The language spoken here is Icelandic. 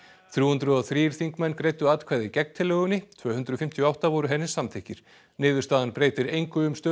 þrjú hundruð og þrír þingmenn greiddu atkvæði gegn tillögunni tvö hundruð fimmtíu og átta voru henni samþykkir niðurstaðan breytir engu um stöðu